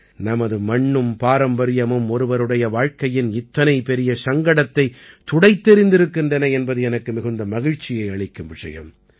நமது மண்ணும் பாரம்பரியமும் ஒருவருடைய வாழ்க்கையின் இத்தனை பெரிய சங்கடத்தைத் துடைத்தெறிந்திருக்கின்றன என்பது எனக்கு மிகுந்த மகிழ்ச்சியை அளிக்கும் விஷயம்